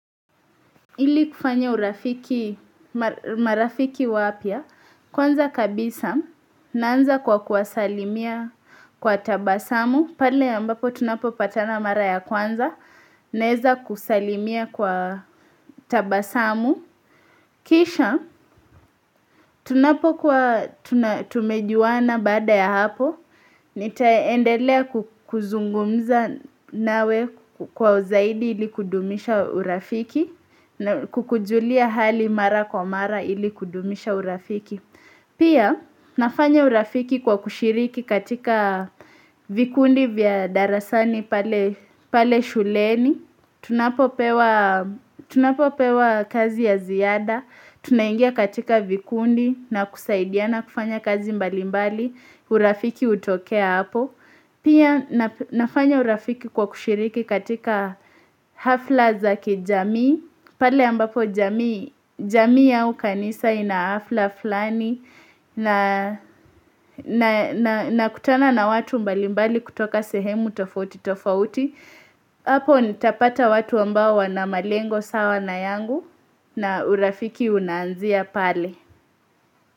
Ili kufanya urafiki, marafiki wapya, kwanza kabisa, naanza kwa kuwasalimia kwa tabasamu, pale ambapo tunapopatana mara ya kwanza, naweza kusalimia kwa tabasamu. Kisha tunapokuwa tumejuana baada ya hapo Nitaendelea kuzungumza nawe kwa zaidi ili kudumisha urafiki na kukujulia hali mara kwa mara ili kudumisha urafiki Pia nafanya urafiki kwa kushiriki katika vikundi vya darasani pale pale shuleni tunapopewa Tunapopewa kazi ya ziada tunaingia katika vikundi na kusaidiana kufanya kazi mbalimbali, urafiki hutokea hapo. Pia nafanya urafiki kwa kushiriki katika hafla za kijamii, pale ambapo jamii jamii au kanisa ina hafla fulani na nakutana na watu mbalimbali kutoka sehemu tofauti tofauti. Hapo nitapata watu ambao wana malengo sawa na yangu na urafiki unaanzia pale.